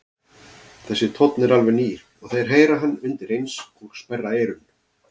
Þessi tónn er alveg nýr og þeir heyra hann undireins og sperra eyrun.